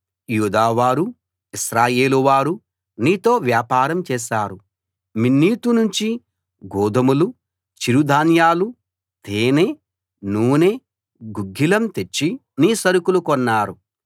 యూదావారూ ఇశ్రాయేలు వారూ నీతో వ్యాపారం చేశారు మిన్నీతు నుంచి గోదుమలు చిరు ధాన్యాలు తేనె నూనె గుగ్గిలం తెచ్చి నీ సరుకులు కొన్నారు